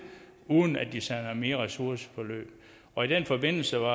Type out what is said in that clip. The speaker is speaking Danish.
uden at de sender dem i ressourceforløb og i den forbindelse